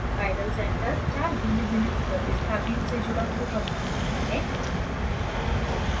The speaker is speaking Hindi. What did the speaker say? chiral centre चार भिन्नभिन्न प्रतिस्थापियों से जुड़ा हुआ परमाणु होता है